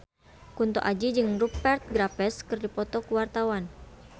Kunto Aji jeung Rupert Graves keur dipoto ku wartawan